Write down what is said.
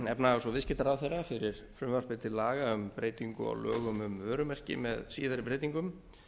efnahags og viðskiptaráðherra fyrir frumvarpi til laga um breytingu á lögum um vörumerki með síðari breytingum